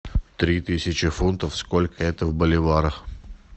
три тысячи фунтов сколько это в боливарах